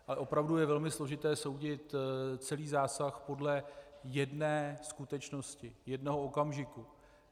Ale opravdu je velmi složité soudit celý zásah podle jedné skutečnosti, jednoho okamžiku.